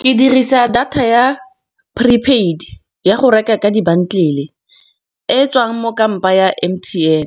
Ke dirisa data ya pre paid ya go reka ka di-bundle, e e tswang mo kampa ya M_T_N